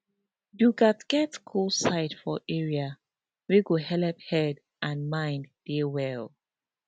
you gats get cool side for area wey go helep head and mind dey well